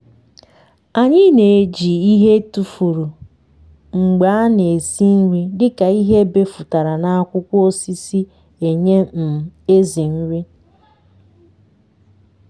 anyị n’eji ịhe etufuru mgbe ana esi nri dịka ịhe ebefụtara na akwụkwọ osisi enye um ểzỉ nri